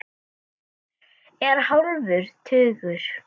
Er hálfur tugur.